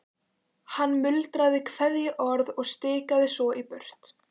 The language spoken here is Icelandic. Hann muldraði kveðjuorð og stikaði svo í burtu.